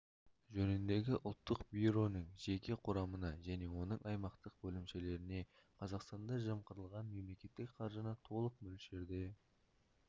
жөніндегі ұлттық бюроның жеке құрамына және оның аймақтық бөлімшелеріне қазақстанда жымқырылған мемлекеттік қаржыны толық мөлшерде